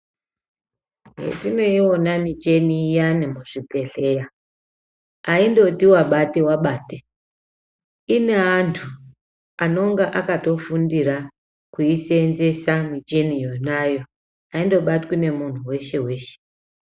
Hetinoiona micheni iyani muzvibhedhleya, haindoti wabate wabate. Ine antu anonga akatofundira kuiseenzesa micheni yonayo, haindobatwi nemunhu weshe weshe.